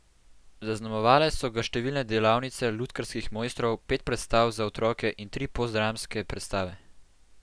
Zaznamovale so ga številne delavnice lutkarskih mojstrov, pet predstav za otroke in tri postdramske predstave.